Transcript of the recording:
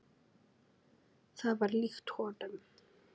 Það var líkt honum.